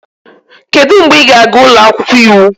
Kedu mgbe ị ga-aga ụlọ akwụkwọ iwu?